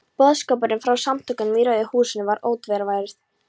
Boðskapurinn frá Samtökunum í Rauða húsinu var ótvíræður.